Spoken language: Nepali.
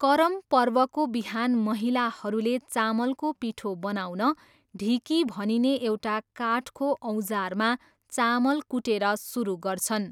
करम पर्वको बिहान महिलाहरूले चामलको पिठो बनाउन ढिकी भनिने एउटा काठको औजारमा चामल कुटेर सुरु गर्छन्।